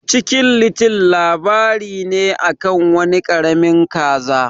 Chicken little labari ne akan wani karamin kaza.